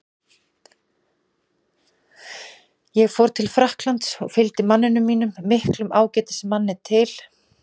Ég fór frá Frakklandi og fylgdi manninum mínum, miklum ágætismanni, til